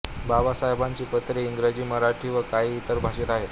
बाबासाहेबांची पत्रे इंग्रजी मराठी व काही इतर भाषेत आहेत